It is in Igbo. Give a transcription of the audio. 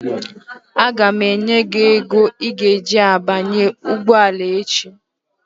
Aga m enye gị ego i ga-eji banye ụgbọala echi